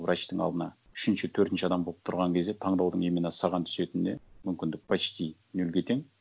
врачтың алдына үшінші төртінші адам болып тұрған кезде таңдаудың именно саған түсетініне мүмкіндік почти нөлге тең